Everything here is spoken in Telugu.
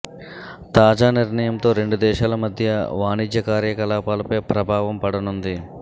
తాజా నిర్ణయంతో రెండు దేశాల మధ్య వాణిజ్య కార్యకలాపాలపై ప్రభావం పడనుంది